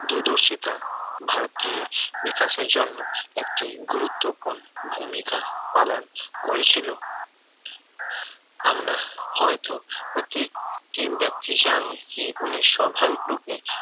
দূরদর্শিতা ভারতীয় বিকাশের জন্য একটি গুরুত্বপূর্ণ ভূমিকা পালন করেছিল আমরা হয়তো প্রত্যেকটি ব্যক্তি জানি কি উনি স্বাভাবিক রূপে